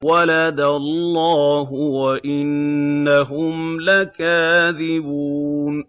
وَلَدَ اللَّهُ وَإِنَّهُمْ لَكَاذِبُونَ